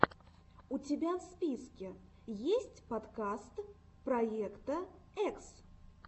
у тебя в списке есть подкаст проекта экс